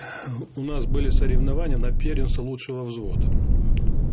у нас были соревнования на первенство лучшего взвода угу